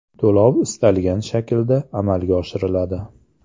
To‘lov istalgan shaklda amalga oshiriladi.